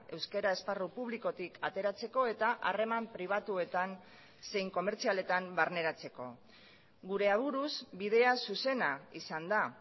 euskara esparru publikotik ateratzeko eta harreman pribatuetan zein komertzialetan barneratzeko gure aburuz bidea zuzena izan da